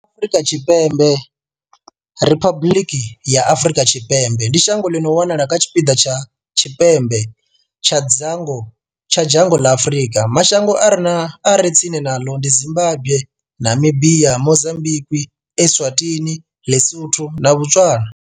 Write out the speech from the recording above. Afrika Tshipembe Riphabuḽiki ya Afrika Tshipembe ndi shango ḽi no wanala kha tshipiḓa tsha tshipembe tsha dzhango ḽa Afurika. Mashango a re tsini naḽo ndi Zimbagwe, Namibia, Mozambikwi, Eswatini, Ḽisotho na Botswana.